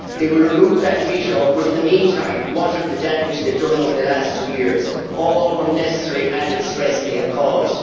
They will remove that veto but in the meantime, what of the damage they have done over the last two years, all the unnecessary added stress they have caused?